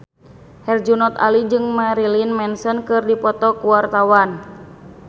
Herjunot Ali jeung Marilyn Manson keur dipoto ku wartawan